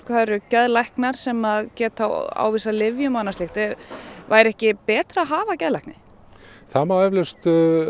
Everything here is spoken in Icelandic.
það eru geðlæknar sem geta ávísað lyfjum og annað slíkt væri ekki betra að hafa geðlækni það má eflaust